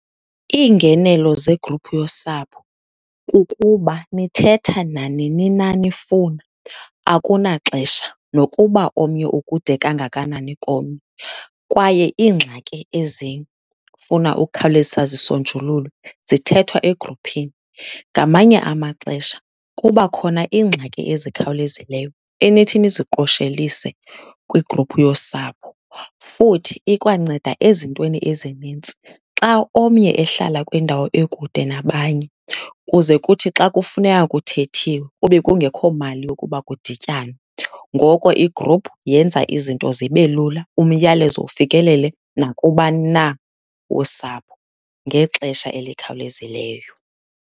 Iingenelo zegruphu yosapho kukuba nithetha naninina nifuna akunaxesha, nokuba omnye ukude kangakanani komnye. Kwaye iingxaki ezifuna ukhawulezisa zisonjululwe, zithethwa egruphini. Ngamanye amaxesha kuba khona iingxaki ezikhawulezileyo enithi niziqoshelise kwigruphu yosapho. Futhi ikwanceda ezintweni ezinintsi, xa omnye ehlala kwindawo ekude nabanye kuze kuthi xa kufuneka kuthethiwe kube kungekho mali yokuba kudityanwe, ngoko igruohu yenza izinto zibe lula, umyalezo ufikelele nakubani na wosapho ngexesha elikhawulezileyo.